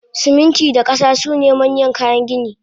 Siminti da kasa sune manyan kayan gini